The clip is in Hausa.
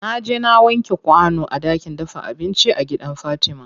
Naje na wanke kwano a ɗakin dafa abinci a gidan fatima.